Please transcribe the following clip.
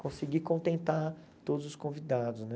Conseguir contentar todos os convidados, né?